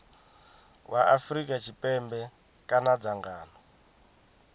wa afrika tshipembe kana dzangano